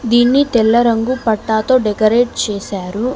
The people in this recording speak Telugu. దీన్ని తెల్ల రంగు పట్టతో డెకరేట్ చేశారు.